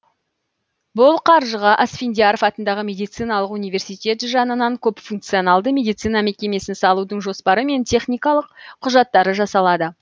бұл қаржыға асфендияров атындағы медициналық университет жанынан көпфункционалды медицина мекемесін салудың жоспары мен техникалық құжаттары жасалады